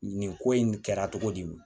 Nin ko in kɛra cogo di